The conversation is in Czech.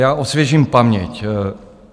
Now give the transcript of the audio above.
Já osvěžím paměť.